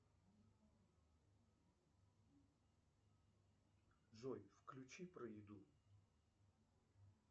джой включи про еду